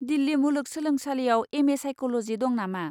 दिल्लि मुलुग सोलोंसालियाव M A psychology दं नामा?